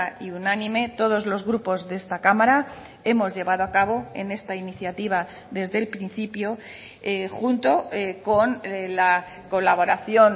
y unánime todos los grupos de esta cámara hemos llevado a cabo en esta iniciativa desde el principio junto con la colaboración